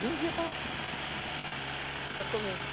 Vendia para... Para comer.